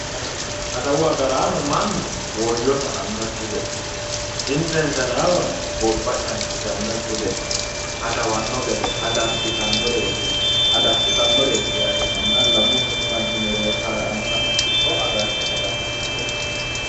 Adawu agaraano mannu woyyo sa'annokki gede insa insanaawa gobba cancishshannokki gede adawanno gede adassitannoreeti yaate. manna lamu sasu manchi mereero kalaqantanno kipho agarte adassitaareeti.